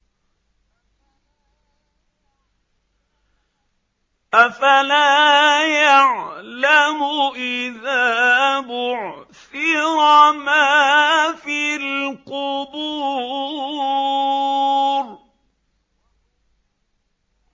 ۞ أَفَلَا يَعْلَمُ إِذَا بُعْثِرَ مَا فِي الْقُبُورِ